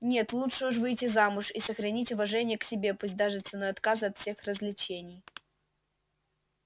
нет лучше уж выйти замуж и сохранить уважение к себе пусть даже ценой отказа от всех развлечений